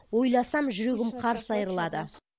ойласам жүрегім қарс айырылады